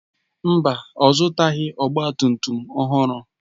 Mba, ọ zụtaghị ọgba tum tum ọhụrụ.